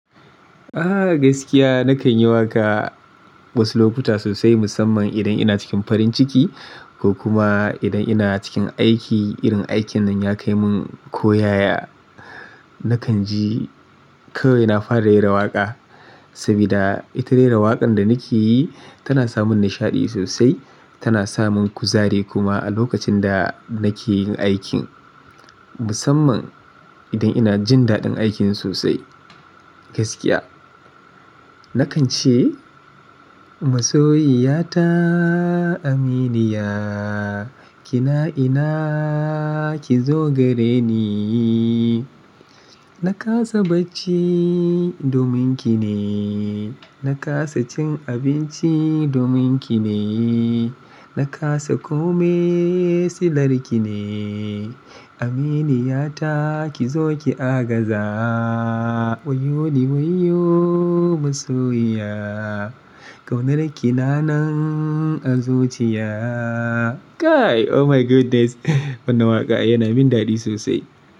Ah gaskiya nakan yi waƙa wasu lokuta sosai musamman idan ina cikin farin ciki ko kuma idan ina cikin aiki irin aikin nan ya kai mun koyaya. Nakan ji kawai na fara raira waƙa saboda ita rera waƙan da nake yi tana samun nishaɗi sosai ta na samun kuzari kuma a lokacin da nake yin aikin musamman idan ina jin daɗin aikin sosai gaskiya. Nakan ce masoyiyata Aminiya kina ina ki zo gare ni, na kasa bacci domin ki ne, na kasa cin abinci domin ki ne, na kasa kome si larki ne. Aminiyata ki zo ki agaza wayoyo ni wayoyo masoyiya. Kaunar ki na nan a zuciya. Kai oh my goodness! Wannan waƙa yana min daɗi sosai.